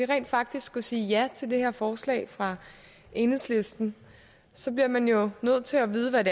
rent faktisk skulle sige ja til det her forslag fra enhedslisten så bliver man jo nødt til at vide hvad